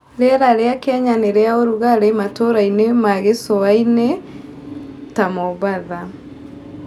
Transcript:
Rĩera rĩa Kenya nĩ rĩa ũrugarĩ matũũra-inĩ ma gĩcua-inĩ ta Mombasa.